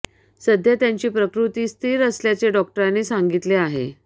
सध्या त्याची प्रकृती स्थिर असल्याचे डॉक्टरांनी सांगितले आहे